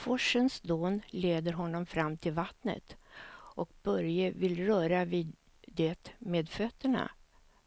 Forsens dån leder honom fram till vattnet och Börje vill röra vid det med fötterna,